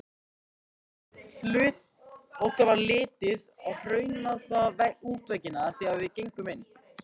Okkur varð litið á hraunaða útveggina þegar við gengum inn.